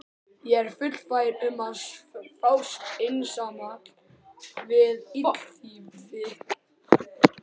Ég er fullfær um að fást einsamall við illþýði!